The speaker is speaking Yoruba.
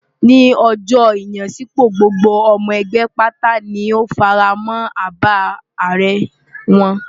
Ní ọjọ́ ìyanisípò, gbogbo ọmọ ẹgbẹ́ pátá ni ó fara mọ́ àbá ààrẹ wọn.